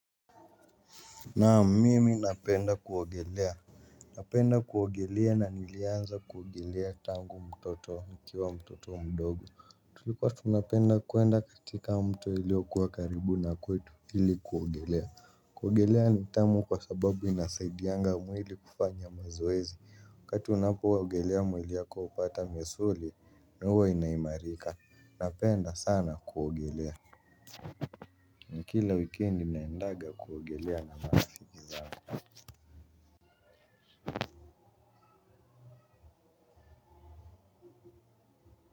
Naam mimi napenda kuogelea napenda kuogelea na nilianza kuogelea tangu mtoto nikiwa mtoto mdogo tulikuwa tunapenda kuenda katika mto iliokuwa karibu na kwetu hili kuogelea kuogelea ni tamu kwa sababu inasaidianga mwili kufanya mazoezi wakati unapoogelea mwili yako upata misuli na uwa inaimarika napenda sana kuogelea na kila weekendi naendaga kuogelea na mbani.